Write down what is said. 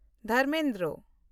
Dharmendra